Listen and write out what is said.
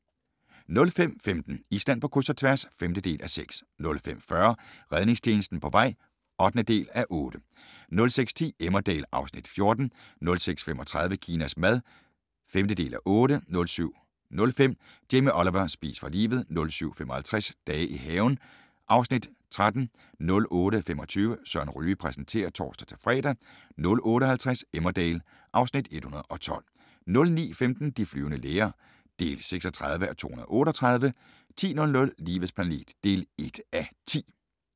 05:15: Island på kryds – og tværs (5:6) 05:40: Redningstjenesten på vej (8:8) 06:10: Emmerdale (Afs. 14) 06:35: Kinas mad (5:8) 07:05: Jamie Oliver: Spis for livet! 07:55: Dage i haven (Afs. 13) 08:25: Søren Ryge præsenterer (tor-fre) 08:50: Emmerdale (Afs. 112) 09:15: De flyvende læger (36:238) 10:00: Livets planet (1:10)